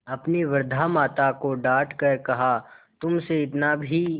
अपनी वृद्धा माता को डॉँट कर कहातुमसे इतना भी